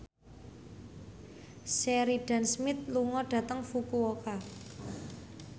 Sheridan Smith lunga dhateng Fukuoka